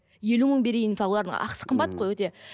елу мың берейін мысалы олардың ақысы қымбат қой өте